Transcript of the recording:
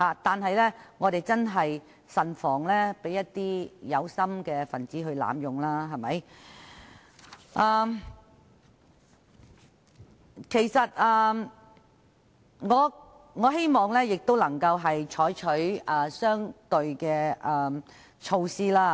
然而，我們要慎防法律被有心人濫用，所以我希望當局能採取相對的措施。